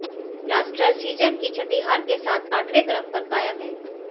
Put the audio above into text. blasters season की छठी हार के साथ आठवें क्रम पर कायम हैं